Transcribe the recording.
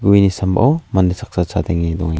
gueni sambao mande saksa chadenge dongenga--